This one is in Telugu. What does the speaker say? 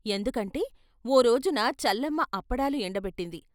ఎందుకంటే ఓ రోజున చల్లమ్మ అప్పడాలు ఎండబెట్టింది.